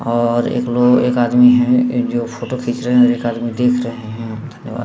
और एक लोग एक आदमी है एक फोटो खींच रहे हैं एक आदमी देख रहे हैं धन्यावाद।